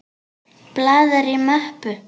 Blaðar í möppu.